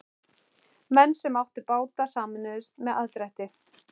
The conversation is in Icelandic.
Menn sem áttu báta sameinuðust um aðdrætti.